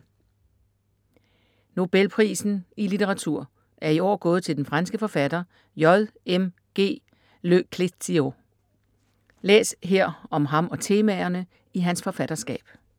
Nobelprisen i litteratur er i år gået til den franske forfatter J.M.G. Le Clèzio. Læs her om ham og temaerne i hans forfatterskab.